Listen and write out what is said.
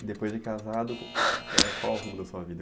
E depois de casado, É, qual o rumo da sua vida?